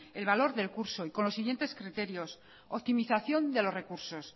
el valor del curso y con los siguientes criterios optimización de los recursos